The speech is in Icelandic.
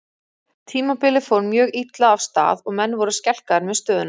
Tímabilið fór mjög illa af stað og menn voru skelkaðir með stöðuna.